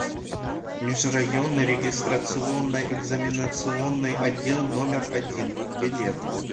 межрайонный регистрационно экзаменационный отдел номер один билет